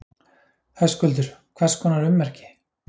Höskuldur: Hvers konar ummerki?